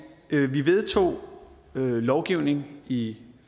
vi vedtog lovgivning i